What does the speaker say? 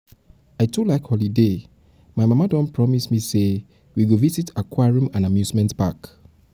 i too like holiday period. like holiday period. my mama don promise me we go visit aquarium and amusement park.